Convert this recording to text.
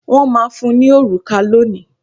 Wọ́n máa fún ní òrùka lónìí.